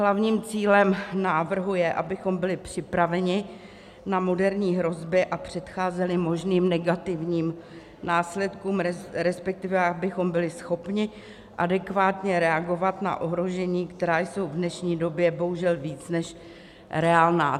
Hlavním cílem návrhu je, abychom byli připraveni na moderní hrozby a předcházeli možným negativním následkům, respektive abychom byli schopni adekvátně reagovat na ohrožení, která jsou v dnešní době bohužel víc než reálná.